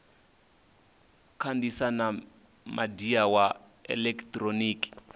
kandisa na midia wa elekitoriniki